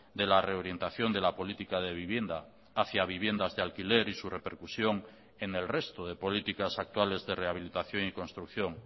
de la reorientación de la política de vivienda hacia viviendas de alquiler y su repercusión en el resto de políticas actuales de rehabilitación y construcción